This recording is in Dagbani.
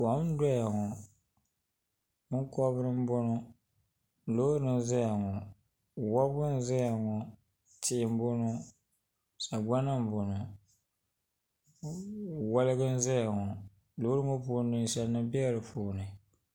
kom n-doya ŋɔ binkɔbiri n-bɔŋɔ loori n-zaya ŋɔ wɔbigu n-ʒe ŋɔ tihi bɔŋɔ sagbana m-bɔŋɔ wɔligi n-ʒeya ŋɔ loori ŋɔ puuni ninsalinima bela di puuni.